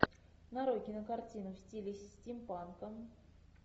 нарой кинокартину в стиле стимпанка